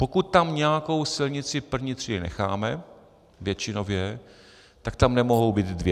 Pokud tam nějakou silnici první třídy necháme, většinově, tak tam nemohou být dvě.